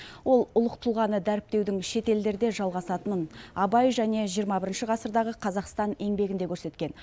ол ұлық тұлғаны дәріптеудің шетелдерде жалғасатынын абай және жиырма бірінші ғасырдағы қазақстан еңбегінде көрсеткен